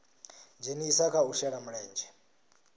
dzhenisa kha u shela mulenzhe